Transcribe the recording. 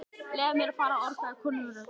Leyfið mér að fara orgaði konurödd.